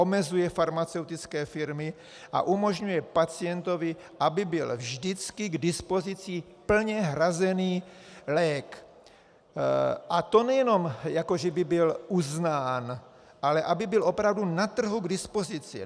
Omezuje farmaceutické firmy a umožňuje pacientovi, aby byl vždycky k dispozici plně hrazený lék, a to nejenom jako že by byl uznán, ale aby byl opravdu na trhu k dispozici.